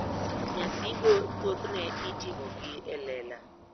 Nyasigo thothne itimogi e lela.